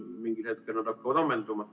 Mingil hetkel nad hakkavad ammenduma.